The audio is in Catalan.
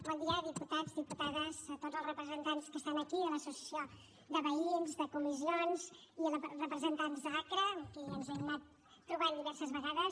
bon dia diputats diputades a tots els representants que estan aquí de l’associació de veïns de comissions i representants d’acra amb qui ens hem anat trobant diverses vegades